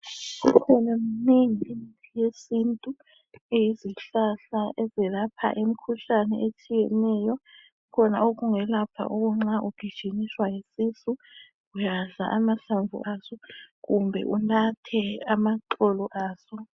Imnengi imithi yesintu eyeizihlahla ezilapha umkhuhlane otshiyeneyo khona ongelapha ukuthi nxa ugijimiswa yisisu udla amahlamvu kumbe unathe amaxolo aso.